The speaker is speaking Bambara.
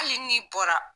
Hali n'i bɔra